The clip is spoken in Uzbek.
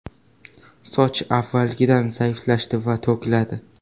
Soch avvalgidan zaiflashadi va to‘kiladi.